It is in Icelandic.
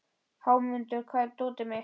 Hámundur, hvar er dótið mitt?